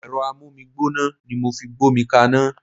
Ẹ̀rọ Ámómi gbóná ni mo fi gbómi kaná.